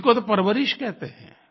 इसी को तो परवरिश कहते हैं